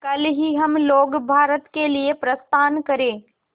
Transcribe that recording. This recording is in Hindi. कल ही हम लोग भारत के लिए प्रस्थान करें